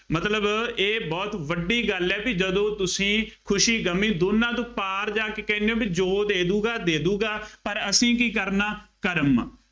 ਮਤਲਬ ਇਹ ਬਹੁਤ ਵੱਡੀ ਗੱਲ ਹੈ ਬਈ ਜਦੋਂ ਤੁਸੀਂ ਖੁਸ਼ੀ ਗਮੀ ਦੋਨਾਂ ਤੋਂ ਪਾਰ ਜਾ ਕੇ ਕਹਿੰਦੇ ਹੋ ਬਈ ਜੋ ਉਹ ਦੇ ਦੇਊਗਾ, ਦੇਊਗਾ, ਪਰ ਅਸੀਂ ਕੀ ਕਰਨਾ, ਕਰਮ,